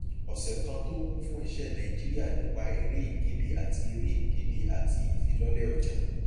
ọsẹ kan tó kún fún iṣẹ nàìjíríà nípa èrè ìkéde àti èrè ìkéde àti ìfilọlẹ ọjà